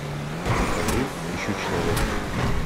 покажи ищу человека